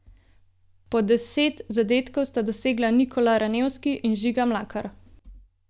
Po deset zadetkov sta dosegla Nikola Ranevski in Žiga Mlakar.